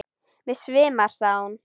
Mig svimar, sagði hún.